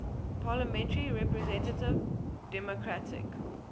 parliamentary representative democratic